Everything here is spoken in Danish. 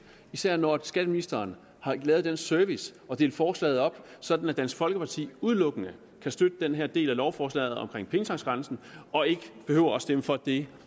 især når skatteministeren har ydet den service at dele forslaget op sådan at dansk folkeparti udelukkende kan støtte den her del af lovforslaget omkring pengetanksgrænsen og ikke behøver at stemme for det